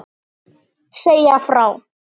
Segja frá.